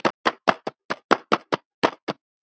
Amma Toll, elsku amma okkar.